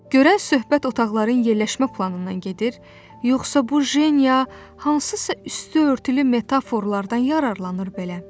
Görən söhbət otaqların yerləşmə planından gedir, yoxsa bu Jeniya hansısa üstüörtülü metaforlardan yararlanır belə?